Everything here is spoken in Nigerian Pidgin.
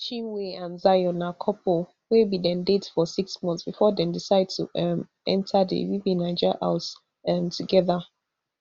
chinwe and zion na couple wey bin dey date for six months bifor dem decide to um enta di bbnaija house um togeda